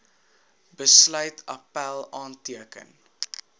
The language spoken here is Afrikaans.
besluit appèl aanteken